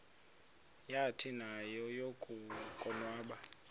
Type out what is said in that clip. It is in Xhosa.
yathi nayo yakuwabona